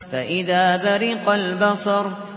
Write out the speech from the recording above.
فَإِذَا بَرِقَ الْبَصَرُ